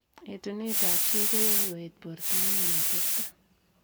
Etuneet ap chii koyae koet portoo eng oleteptoi..